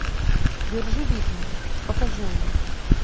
держи ритм покажи мне